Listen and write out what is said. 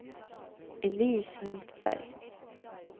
Elise Hultberg